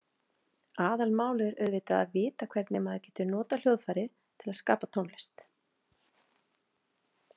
Aðalmálið er auðvitað að vita hvernig maður getur notað hljóðfærið til að skapa tónlist.